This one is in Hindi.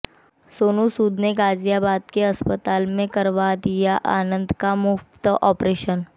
सोनू सूद ने गाजियाबाद के अस्पताल में करवा दिया आनंद का मुफ्त ऑपरेशन